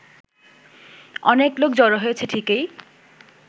অনেক লোক জড়ো হয়েছে ঠিকই